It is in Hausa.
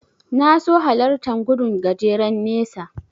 Na so hallartan gudun gajeren nesa.